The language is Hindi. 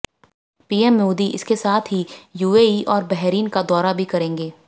पीएम मोदी इसके साथ ही यूएई और बहरीन का दौरा भी करेंगे